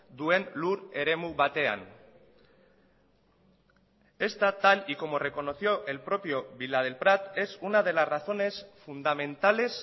duen lur eremu batean esta tal y como reconoció el propio villadelprat es una de las razones fundamentales